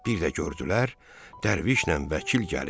Bir də gördülər Dərvişlə Vəkil gəlir.